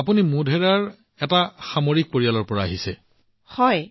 আপুনি মোধেৰাত আছে আপুনি এটা মিলিটেৰী পৰিয়ালৰ সদস্য